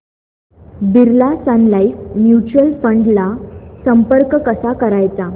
Birla Sun Life Mutual Fund ला संपर्क कसा करायचा